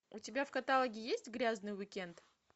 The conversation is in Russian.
у тебя в каталоге есть грязный уик энд